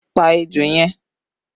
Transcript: Pa ejò yẹn!